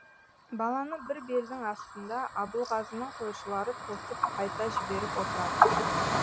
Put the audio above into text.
баланы бір белдің астында абылғазының қойшылары тосып қайта жіберіп отыратын